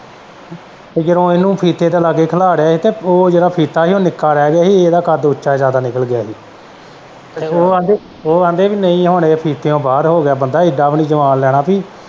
ਤੇ ਜਦੋਂ ਇਹਨੂੰ ਫੀਤੇ ਦੇ ਲਾਗੇ ਖਲਾਰਿਆ ਸੀ ਉਹ ਜਿਹੜਾ ਫੀਤਾ ਸੀ ਉਹ ਨਿੱਕਾ ਰਹਿ ਗਿਆ ਸੀ ਇਹਦਾ ਕੱਦ ਉੱਚਾ ਜ਼ਿਆਦਾ ਨਿੱਕ ਗਿਆ ਹੀ ਤੇ ਉਹ ਆਂਦੇ ਨਹੀਂ ਹੁਣ ਇਹ ਫੀਤਾ ਬਾਹਰ ਹੋ ਗਿਆ ਬੰਦਾ ਏਡਾ ਵੀ ਨਹੀਂ ਜਵਾਨ ਲੈਣਾ ਬਈ।